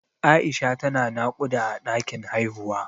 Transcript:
Aisha ta na naƙuda a ɗakin haihuwa